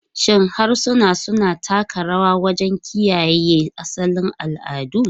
Shin harsuna suna taka rawa wajen kiyaye asalin al'adu?